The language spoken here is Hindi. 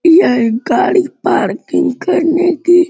यह गाड़ी पार्किंग करने की --